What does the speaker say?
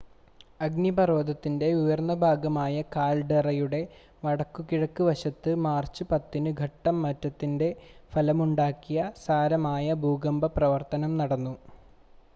അഗ്നിപർവ്വതത്തിൻ്റെ ഉയർന്ന ഭാഗമായ കാൽഡെറയുടെ വടക്കുകിഴക്ക് വശത്ത് മാർച്ച് 10-ന് ഘട്ടം മാറ്റത്തിൻ്റെ ഫലമുണ്ടാക്കിയ സാരമായ ഭൂകമ്പ പ്രവർത്തനം നടന്നു